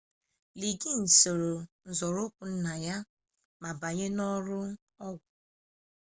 liggins soro n'uzoụkwụ nna ya ma banye n'ọrụ ọgwụ